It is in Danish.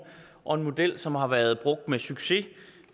og en model som har været brugt med succes